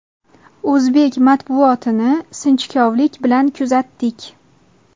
O‘zbek matbuotini sinchikovlik bilan kuzatdik.